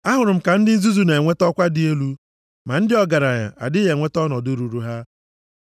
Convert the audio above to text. Ahụrụ m ka ndị nzuzu na-enweta ọkwa dị elu, ma ndị ọgaranya adịghị enweta ọnọdụ ruuru ha.